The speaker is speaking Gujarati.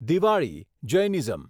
દિવાળી જૈનિઝમ